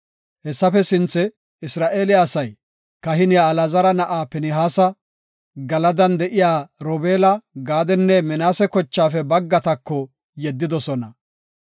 Hessafe sinthe Isra7eele asay, kahiniya Alaazara na7aa Pinihaasa, Galadan de7iya Robeela, Gaadenne Minaase kochaafe baggatako yeddidosona.